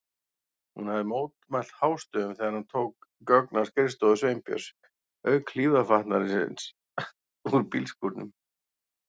Hún hafði mótmælt hástöfum þegar hann tók gögn af skrifstofu Sveinbjörns, auk hlífðarfatnaðarins úr bílskúrnum.